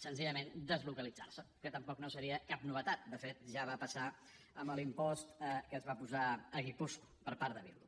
senzillament deslocalitzar se que tampoc no seria cap novetat de fet ja va passar amb l’impost que es va posar a guipúscoa per part de bildu